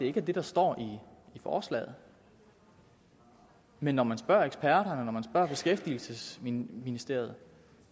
ikke er det der står i forslaget men når man spørger eksperterne når man spørger beskæftigelsesministeriet